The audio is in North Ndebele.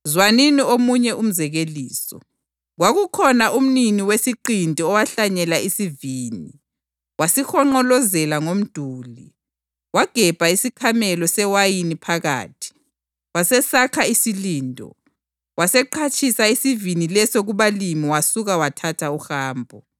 “Zwanini omunye umzekeliso: Kwakukhona umnini wesiqinti owahlanyela isivini. Wasihonqolozela ngomduli, wagebha isikhamelo sewayini phakathi, wasesakha isilindo. Waseqhatshisa isivini leso kubalimi wasuka wathatha uhambo.